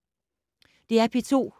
DR P2